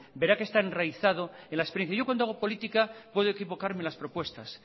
verá que está enraizado en la experiencia yo cuando hago política puedo equivocarme en las propuestas